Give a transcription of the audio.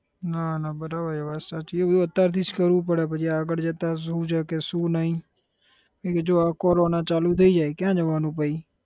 ના ના બરાબર એ વાત સાચી છે એ બધું અત્યાર થી જ કરવું પડે પછી આગળ જતા શુ છે કે શુ નઈ કેમ કે જો આ કોરોના ચાલુ થઇ જાય ક્યાં જવાનું પછી?